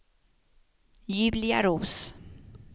Julia Roos